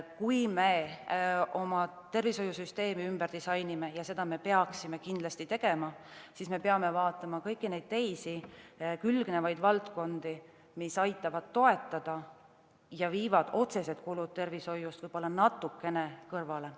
Kui me oma tervishoiusüsteemi ümber disainime – ja seda me peaksime kindlasti tegema –, siis me peame vaatama kõiki külgnevaid valdkondi, mis aitavad toetada ja viivad otsesed kulud tervishoiust võib-olla natukene kõrvale.